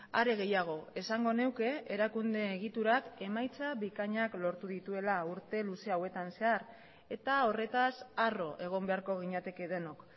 are gehiago esango nuke erakunde egiturak emaitza bikainak lortu dituela urte luze hauetan zehar eta horretaz harro egon beharko ginateke denok